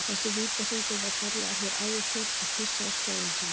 Þessi vítahringur var kallaður hér áður fyrr að pissa í skóinn sinn.